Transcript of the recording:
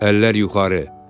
Əllər yuxarı!